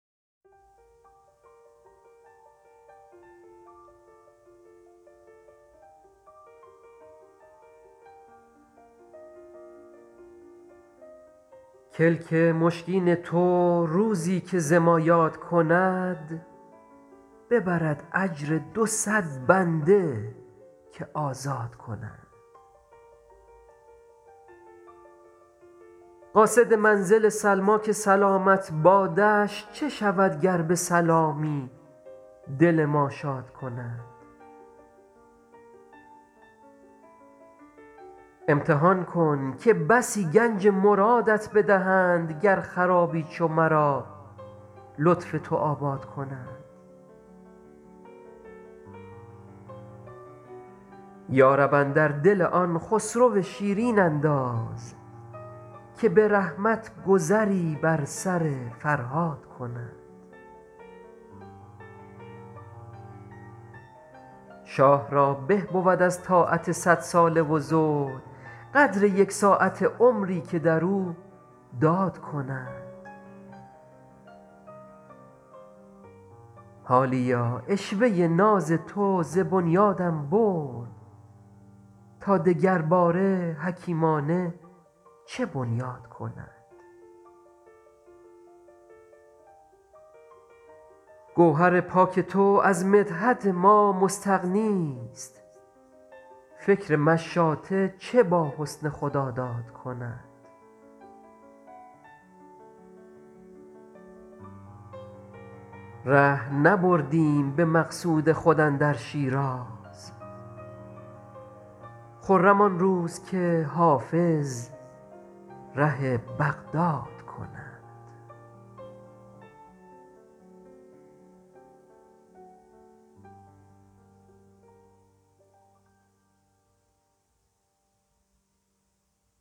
کلک مشکین تو روزی که ز ما یاد کند ببرد اجر دو صد بنده که آزاد کند قاصد منزل سلمیٰ که سلامت بادش چه شود گر به سلامی دل ما شاد کند امتحان کن که بسی گنج مرادت بدهند گر خرابی چو مرا لطف تو آباد کند یا رب اندر دل آن خسرو شیرین انداز که به رحمت گذری بر سر فرهاد کند شاه را به بود از طاعت صدساله و زهد قدر یک ساعته عمری که در او داد کند حالیا عشوه ناز تو ز بنیادم برد تا دگرباره حکیمانه چه بنیاد کند گوهر پاک تو از مدحت ما مستغنیست فکر مشاطه چه با حسن خداداد کند ره نبردیم به مقصود خود اندر شیراز خرم آن روز که حافظ ره بغداد کند